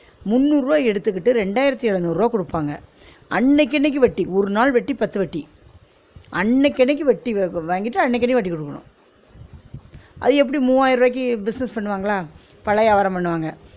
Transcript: முந்நூறு ருவா எடுத்துகிட்டு ரெண்டாயிரத்து எழநூறு ருவா குடுப்பாங்க, அன்னைக்கு அன்னைக்கு வட்டி ஒரு நாள் வட்டி பத்து வட்டி அன்னைக்கு அன்னைக்கு வட்டி வாங்கிட்டு, அன்னைக்கு அன்னைக்கு வட்டி குடுக்கணும் அது எப்டி மூவாயிர ருவாயிக்கு business பண்ணுவாங்களா பழவியாபாரம் பண்ணுவாங்க